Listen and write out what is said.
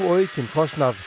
aukinn kostnað